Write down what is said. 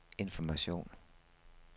information